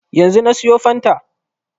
Yanzu na siyo fanta